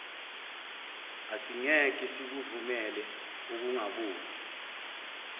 asingeke sikuvumele ukungaboni